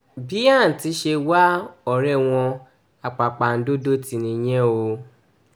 bí àǹtí ṣe wá ọ̀rẹ́ wọn àpàpàǹdodo tì nìyẹn o